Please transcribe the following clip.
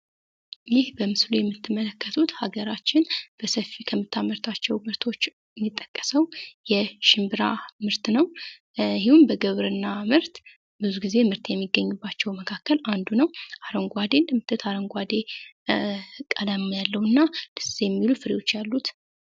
ይህ በምስሉ ላይ የምትመለከቱት ሃገራችን በብዛት የምታመርተው የሽምብራ ምርት ሲሆን፤ ብዙ ጊዜ ብዙ ምርት ከሚገኝባቸው ውስጥ አንዱ ነው። አረንጓዴ ቀለም ያለውና ደስ የሚሉ ፍሬዎች አሉት ።